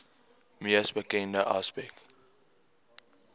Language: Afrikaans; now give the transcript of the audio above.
mees bekende aspek